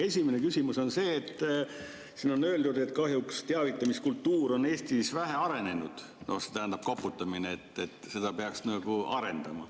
Esimene küsimus on see, et siin on öeldud, et kahjuks teavitamiskultuur on Eestis vähe arenenud, see tähendab koputamine, et seda peaks nagu arendama.